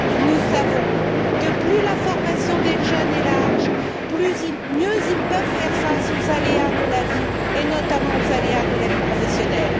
Nous savons que plus la formation des jeunes est large, mieux ils peuvent faire face aux aléas de la vie, et notamment aux aléas de la vie professionnelle.